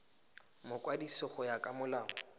mokwadisi go ya ka molao